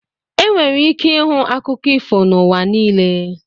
Enwere ike ịhụ akụkọ ifo n'ụwa niile.